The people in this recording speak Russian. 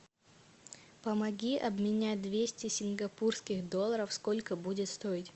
помоги обменять двести сингапурских долларов сколько будет стоить